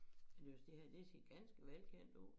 Jeg synes det her det ser ganske velkendt ud